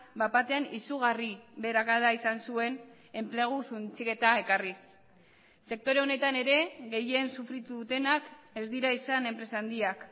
bat batean izugarri beherakada izan zuen enplegu suntsiketa ekarriz sektore honetan ere gehien sufritu dutenak ez dira izan enpresa handiak